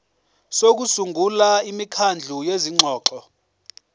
sokusungula imikhandlu yezingxoxo